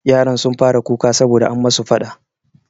Yaran sun fara kuka sabo da an musu faɗa.